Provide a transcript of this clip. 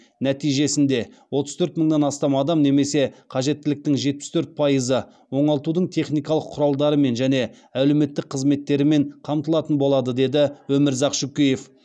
нәтижесінде отыз төрт мыңнан астам адам немесе қажеттіліктің жетпіс төрт пайызы оңалтудың техникалық құралдарымен және әлеуметтік қызметтерімен қамтылатын болады деді өмірзақ шөкеев